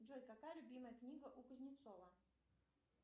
джой какая любимая книга у кузнецова